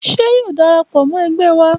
Ṣé yóò darapọ̀ mọ ẹgbẹ wa?